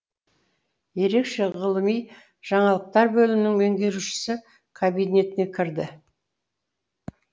ерекше ғылыми жаңалықтар бөлімінің меңгерушісі кабинетіне кірді